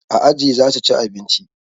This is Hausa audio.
A aji zasu ci abinci